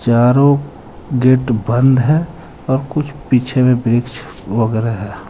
चारो गेट बंद हे और कुछ पीछे में वृक्ष वगैरा है.